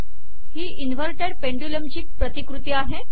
ही inverted pendulum ची प्रतिकृती आहे